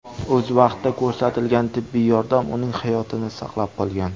O‘z vaqtida ko‘rsatilgan tibbiy yordam uning hayotini saqlab qolgan.